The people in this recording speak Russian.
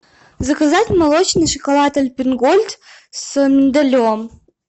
заказать молочный шоколад альпен гольд с миндалем